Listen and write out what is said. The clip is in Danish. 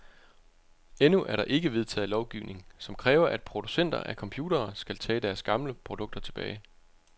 Endnu er der ikke vedtaget lovgivning, som kræver, at producenter af computere skal tage deres gamle produkter tilbage.